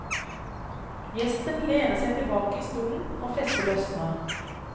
Gjesten lener seg tilbake i stolen og festet løsner.